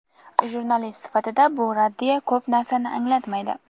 Jurnalist sifatida bu raddiya ko‘p narsani anglatmaydi.